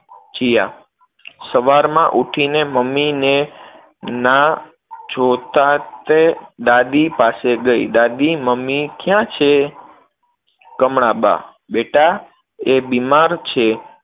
જીયા સવારમાં ઉઠીને મમ્મીને ના જોતા, તે દાદી પાસે ગઈ, દાદી મમ્મી ક્યાં છે? કમળાબા બેટા, એ બીમાર છે.